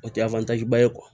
O tɛ ba ye